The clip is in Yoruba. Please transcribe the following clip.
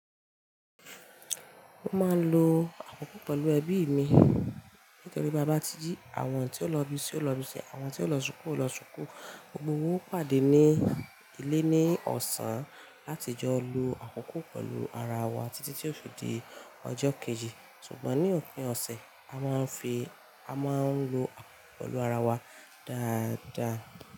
Mo máa ń lo àkókò pẹ̀lú ẹbí mi. Nítorí bá bá ti jí àwọn tí ó lọ́bi sí lọ́bi ṣe, àwọn tí ó lọ ṣúkú lọ ṣúkú, gbogbo won ó pàdé ní ilé ní ọ̀sán láti jọ lo àkókò pẹ̀lú ara wa títí tí yóò fidi ọjọ́ kejì. Ṣùgbọ́n ní òpin ọ̀sẹ̀ a máa n fi, a máa ń lo àkókò pẹ̀lú ara wa dáadáa.